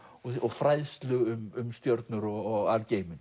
fræðslu um stjörnur og